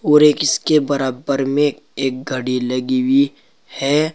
और एक इसके बरबर में एक घड़ी लगी हुई है।